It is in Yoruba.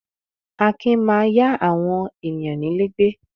Akin máa yá àwọn ènìyàn nílé gbé.